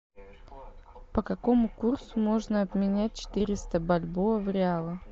по какому курсу можно обменять четыреста бальбоа в реалах